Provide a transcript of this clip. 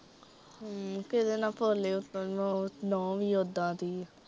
ਹਮ ਕਿਦੇ ਨਾ ਭੋਲੀ ਉੱਤੋਂ ਨੂੰਹ, ਨੂੰਹ ਵੀ ਉੱਦਾਂ ਦੀ ਐ।